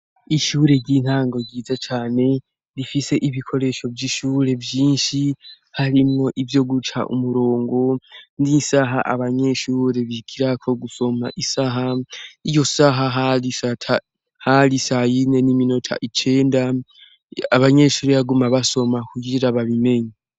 Ishure ry'intango ryiza cane, rifise ibikoresho vy'ishure vyinshi harimwo ivyo guca umurongo n'isaha abanyeshure bigirako gusoma isaha, iyo saha hari sayine n'iminota icenda, abanyeshure baguma basoma kugira babimenye.